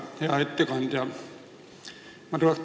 Hea ettekandja!